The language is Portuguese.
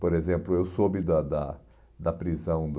Por exemplo, eu soube da da da prisão do...